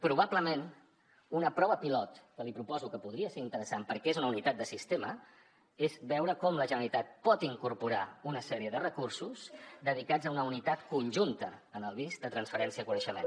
probablement una prova pilot que li proposo que podria ser interessant perquè és una unitat de sistema és veure com la generalitat pot incorporar una sèrie de recursos dedicats a una unitat conjunta en el bist de transferència de coneixement